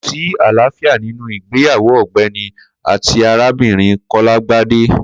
Ko sí àlàáfíà ninu ìgbéyàwó ọ̀gbẹni àtíàrábinrin kọlàgbàdẹ̀